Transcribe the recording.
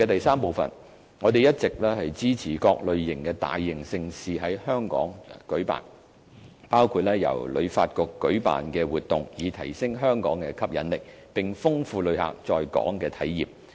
三我們一直支持各類型的大型盛事在港舉辦，包括由旅發局舉辦的活動，以提升香港的吸引力，並豐富旅客在港的體驗。